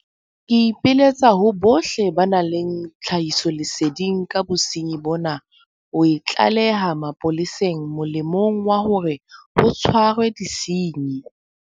Ke ipiletsa ho bohle ba nang le tlhahisoleseding ka bosenyi bona ho e tlaleha mapoleseng molemong wa hore ho tshwarwe disenyi.